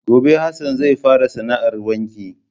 Gobe Hassan zai fara sana 'ar wanki.